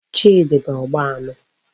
Chidi bu Ogba anu